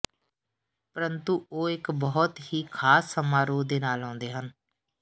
ਪਰੰਤੂ ਉਹ ਇੱਕ ਬਹੁਤ ਹੀ ਖ਼ਾਸ ਸਮਾਰੋਹ ਦੇ ਨਾਲ ਆਉਂਦੇ ਹਨ